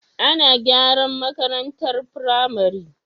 Ana garan makarantar pramari